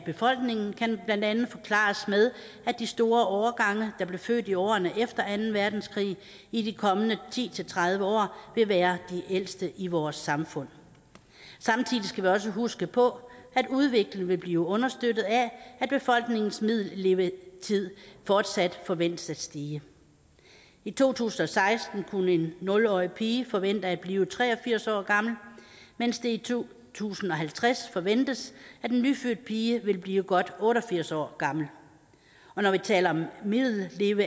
befolkningen kan blandt andet forklares med at de store årgange der blev født i årene efter anden verdenskrig i de kommende ti til tredive år vil være de ældste i vores samfund samtidig skal vi også huske på at udviklingen vil blive understøttet af at befolkningens middellevetid fortsat forventes at stige i to tusind og seksten kunne en nul årig pige forvente at blive tre og firs år gammel mens det i to tusind og halvtreds forventes at en nyfødt pige vil blive godt otte og firs år gammel og når vi taler om middellevetiden